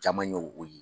Caman ye o ye